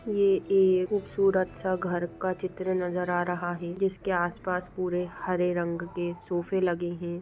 यह एक खूबसूरत घर का चित्र नजर आ रहा है जिसके आसपास पूरे हरे रंग के सोफे लगे हैं ।